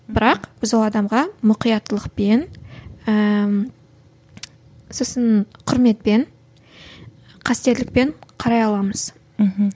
бірақ біз ол адамға мұқияттылықпен ііі сосын кұрметпен қастерлікпен қарай аламыз мхм